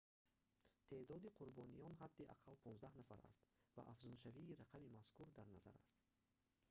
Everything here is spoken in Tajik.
теъдоди қурбониён ҳадди ақалл 15 нафар аст ва афзуншавии рақами мазкур дар назар аст